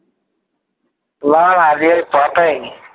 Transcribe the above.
না না আজকে পাঠাইনি